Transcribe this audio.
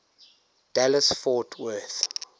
dallas fort worth